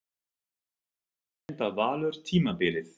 Hvar endar Valur tímabilið?